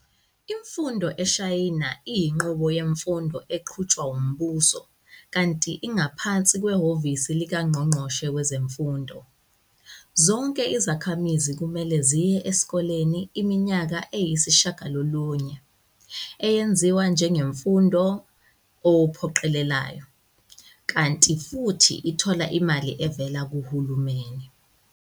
Imfundo eShayina iyinqubo yemfundo eqhutshwa wumbuso, kanti ingaphansi khwehhovisi likaNgqongqoshe wezeMfundo. Zonke izakhamizi kumele ziye esikoleni iminyaka eyisishagalolunye, eyeziwa njengemfundo ephoqelelayo, kanti futhi ithola imali evela kuhulumeni.